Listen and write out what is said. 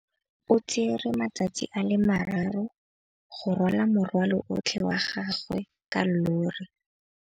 O tsere malatsi a le marraro go rwala morwalo otlhe wa gagwe ka llori.